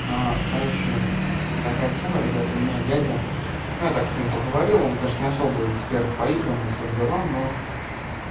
а короче такая тема ребят у меня дядя ну я так с ним поговорил он конечно не особо эксперт по играм и всем делам но